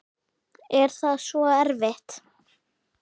Er það svo erfitt?